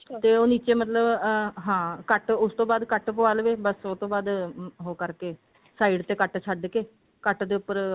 ਤੇ ਉਹ ਨਿੱਚੇ ਮਤਲਬ ਹਾਂ cut ਉਸ ਤੋਂ ਬਾਅਦ cut ਪਵਾ ਲਵੇ ਬਸ ਉਹ ਤੋਂ ਬਾਅਦ ਉਹ ਕਰਕੇ side ਤੇ cut ਛੱਡ ਕੇ cut ਦੇ ਉੱਪਰ